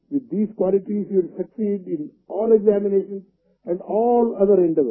with these qualities you will succeed in all examinations and all other endeavours